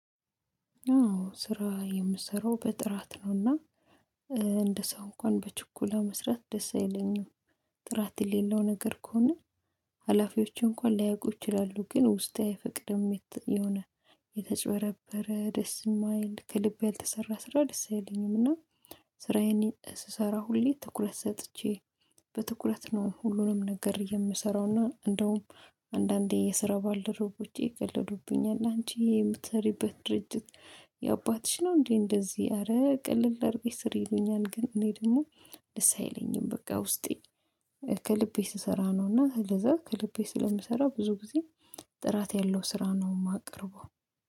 አዎ ስራ የምሰራው በጥራት ነውና እንደ ሰው እንኳን በችኩላ መስራት ደስ አይለኝም። ጥራት የሌለው ነገር ከሆነ ሀላፊዎች እንኳን ላያውቁ ይችላሉ ግን ውስጤ አይፈቅድም የሆነ የተጭበረበረ ደስ የማይል ከልብ ያልተሰራ ስራ ደስ አይለኝም። እና ስራዬን ስሰራ ሁሌ ትኩረት ሰጥቼ በትኩረት ነው ሁሉንም ነገር የምሰራው። እና እንደውም አንዳንዴ የስራ ባልደረቦቼ ይቀልዱብኛል። አንቺ የምትሰሪበት ድርጅት የአባትሽ ነው እንዴ እንደዚህ አረ ቅልል አድርገሽ ስር ይሉኛል ግን እኔ ደግሞ ደስ አይለኝም። በቃ ውስጤ ከልቤ ስሰራ ነው እና ስለዛ ከልቤ ስለምሰራ ብዙ ጊዜ ጥራት ያለው ስራ ነው የማቀርበው።